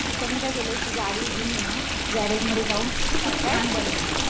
तर त्यांनी काय केलंय ती गाडी घेऊन आहे ना गॅरेजमध्ये जाऊन ती छान बनवलीये